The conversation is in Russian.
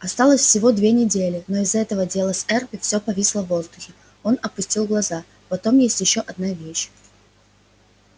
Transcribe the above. осталось всего две недели но из-за этого дела с эрби всё повисло в воздухе он опустил глаза потом есть ещё одна вещь